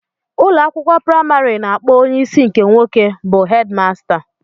Ụlọ akwụkwọ praịmarị na-akpọ onye isi nke nwoke bụ 'headmaster'